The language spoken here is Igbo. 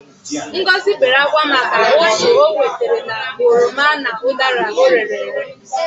Ngozi wept because of the loss she incurred fro from her rotten oranges and apples.